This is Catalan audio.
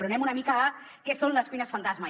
però anem una mica a què són les cuines fantasma